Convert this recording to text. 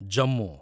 Jammu